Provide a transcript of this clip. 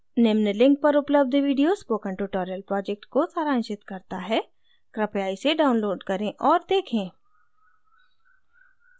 निम्न link पर उपलब्ध video spoken tutorial project को सारांशित करता है कृपया इसे download करें और देखें